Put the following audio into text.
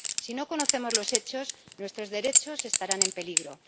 Si no conocemos los hechos, nuestros derechos estarán en peligro.